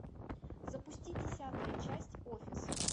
запусти десятая часть офис